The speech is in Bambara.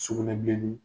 Sugunɛbilennin